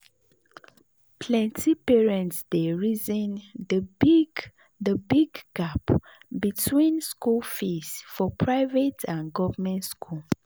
plenty parents dey reason the big the big gap between school fees for private and government school.